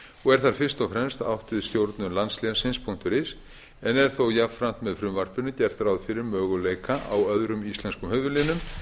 og er þar fyrst og fremst átt við stjórnun landslénsins is en þó er jafnframt með frumvarpinu gert ráð fyrir möguleika á öðrum íslenskum höfuðlénum